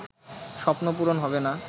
স্বপ্ন পূরণ হবে না